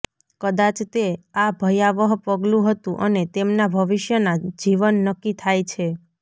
કદાચ તે આ ભયાવહ પગલું હતું અને તેમના ભવિષ્યના જીવન નક્કી થાય છે